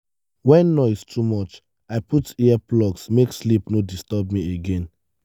when noise too much i put earplugs make sleep no disturb me again.